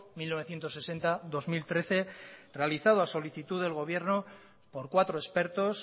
mil novecientos sesenta dos mil trece realizado a solicitud del gobierno por cuatro expertos